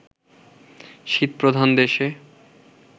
শীতপ্রধান দেশে